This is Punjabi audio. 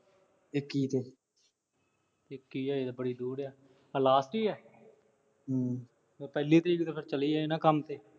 ਇੱਕੀ ਦਾ। ਇੱਕੀ ਤਾਂ ਅਜੇ ਬੜੀ ਦੂਰ ਏ। ਆਹ last ਈ ਏ। ਹੂੰ। ਪਹਿਲੀ ਤੋਂ ਤਾਂ ਫਿਰ ਚਲੀ ਈ ਜਾਣਾ ਕੰਮ ਤੇ।